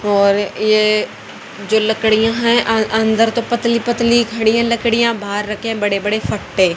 और ये जो लकड़ियां है अय अंदर तो पतली पतली खड़ी लकड़ियां बाहर रखे बड़े बड़े फट्टे--